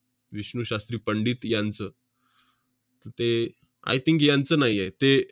विष्णू शास्त्री पंडित यांचं. ते I think यांचं नाही आहे. ते